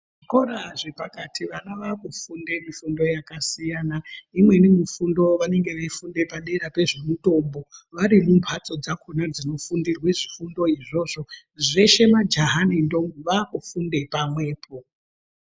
Zvikora zvepakati vana vakufunde mifundo yakasiyana imweni mifundo vanenge veifunda padera pezvemutombo vari mumbatso dzakona dzinofundirwa zvifundo izvozvo zveshe majaha nentombi vakufunde pamwepo.